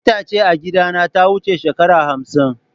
Itace a gidana ta wuce shekara hamsin.